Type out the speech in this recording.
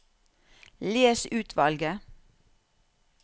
Les utvalget